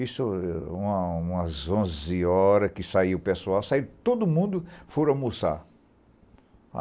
Isso, uma umas onze horas que saiu o pessoal, saiu todo mundo, foram almoçar.